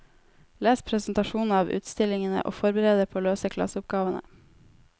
Les presentasjonene av utstillingene og forbered dere på å løse klasseoppgavene.